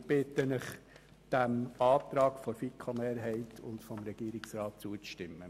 Wir bitten Sie, dem Antrag der FiKo-Mehrheit und des Regierungsrats zuzustimmen.